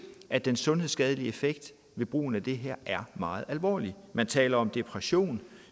at den sundhedsskadelige effekt ved brugen af det her er meget alvorlig man taler om depression